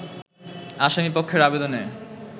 আসামীপক্ষের আবেদনে